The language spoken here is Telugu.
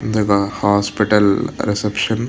ఇదొక హాస్పిటల్ రిసెప్షన్ .